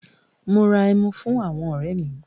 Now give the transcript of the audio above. Mo ra ẹmu fún àwọn ọ̀rẹ́ mi.